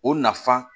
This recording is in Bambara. O nafan